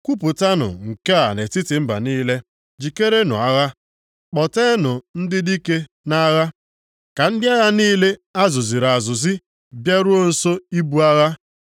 Kwupụtanụ nke a nʼetiti mba niile: Jikerenụ agha! Kpọteenụ ndị dike nʼagha. Ka ndị agha niile a zụziri azụzi bịaruo nso ibu agha.